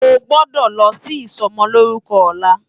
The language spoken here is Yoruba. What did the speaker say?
Ó gbòdò lò si isòmòlórúkò òlá